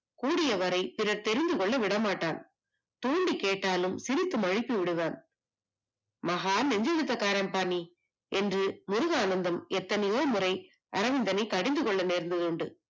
கூடிய விரைப்புரத் தெரிந்து கொள்ள விட மாட்டான் தூண்டி கேட்டாலும் சிரித்து மழுப்பி விடுவான் மகாநெஞ்சலத்தக்காரன் பாணி என்று முருகானந்தம் எத்தனையோ முறை கடிந்து கொள்ள நேர்ந்ததுண்டு